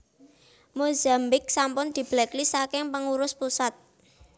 Mozambik sampun diblacklist saking pengurus pusat